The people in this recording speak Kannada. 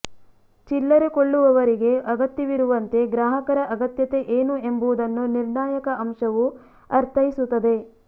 ಚಿಲ್ಲರೆ ಕೊಳ್ಳುವವರಿಗೆ ಅಗತ್ಯವಿರುವಂತೆ ಗ್ರಾಹಕರ ಅಗತ್ಯತೆ ಏನು ಎಂಬುದನ್ನು ನಿರ್ಣಾಯಕ ಅಂಶವು ಅರ್ಥೈಸುತ್ತದೆ